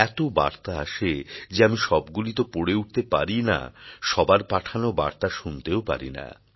এত বার্তা আসে যে আমি সবগুলিই তো পড়ে উঠতে পারি না সবার পাঠানো বার্তা শুনতেও পারি না